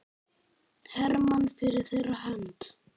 Hermann fyrir þeirra hönd.